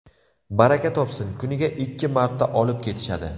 Baraka topsin, kuniga ikki marta olib ketishadi”.